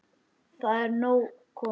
Það er nóg komið.